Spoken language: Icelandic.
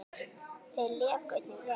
Þeir léku einnig vel.